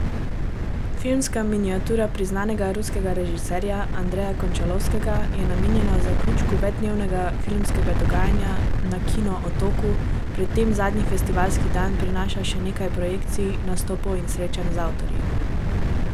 Filmska miniatura priznanega ruskega režiserja Andreja Končalovskega je namenjena zaključku večdnevnega filmskega dogajanja na Kino Otoku, pred tem zadnji festivalski dan prinaša še nekaj projekcij, nastopov in srečanj z avtorji.